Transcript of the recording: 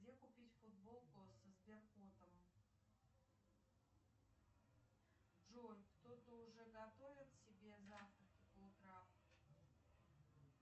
где купить футболку со сбер котом джой кто то уже готовит себе завтраки по утрам